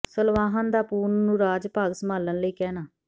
ਸਲਵਾਹਨ ਦਾ ਪੂਰਨ ਨੂੰ ਰਾਜ ਭਾਗ ਸੰਭਾਲਣ ਲਈ ਕਹਿਣਾ